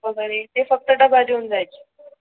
वगैरे ते फक्त डबा घेऊन जायचे.